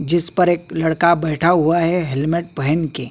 जिस पर एक लड़का बैठा हुआ है हेलमेट पहन के।